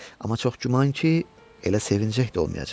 Amma çox güman ki, elə sevinəcək də olmayacaq.